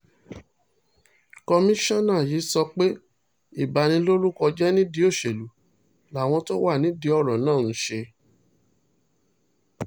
kọmíṣánná yìí sọ pé ìbanilórúkọ jẹ́ nídìí òṣèlú làwọn tó wà nídìí ọ̀rọ̀ náà ń ṣe